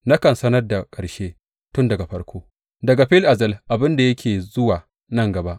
Nakan sanar da ƙarshe tun daga farko, daga fil azal, abin da yake zuwa nan gaba.